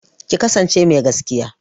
Ki kasance mai gaskiya!